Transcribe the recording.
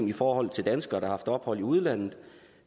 i forhold til danskere der har haft ophold i udlandet